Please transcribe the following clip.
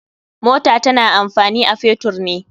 Mota tana amfani a fetur ne.